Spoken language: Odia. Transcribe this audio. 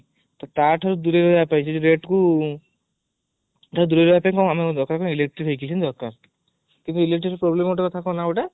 ତ ତାଠୁ ଦୂରେଇ ରହିବା ପାଇଁ ମାନେ rate ଠୁ electric vehicle କିଛି ଦରକାର କିନ୍ତୁ electric vehicleର problem ଗୋଟେ କଣ ନ ଗୋଟେ